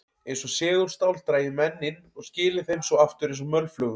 Eins og segulstál drægi menn inn og skili þeim svo aftur eins og mölflugum.